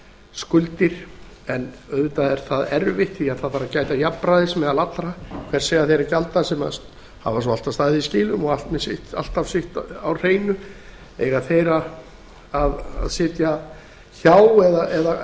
skuldir en auðvitað er það erfitt því að það þarf að gæta jafnræðis meðal allra hvers eiga þeir að gjalda sem hafa svo alltaf staðið í skilum og með allt sitt á hreinu eiga þeir að sitja hjá eða á